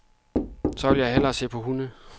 Så vil jeg hellere se på hunde.